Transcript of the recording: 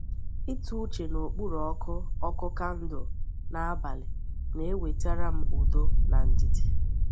Ịtụ uche n’okpuru ọkụ ọkụ kandụl n’abalị na-ewetara m udo na ndidi.